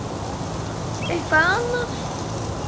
Þarf eitthvað annað?